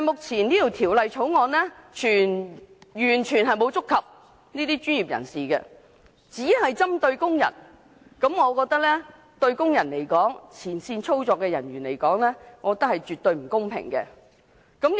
然而，《條例草案》目前完全沒有觸及這些專業人士，只針對工人，我覺得對工人、前線操作人員絕不公平。